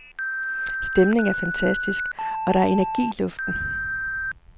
Stemningen er fantastisk, og der er energi i luften.